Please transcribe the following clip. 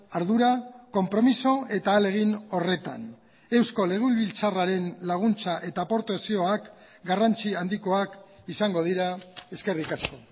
ardura konpromiso eta ahalegin horretan eusko legebiltzarraren laguntza eta aportazioak garrantzi handikoak izango dira eskerrik asko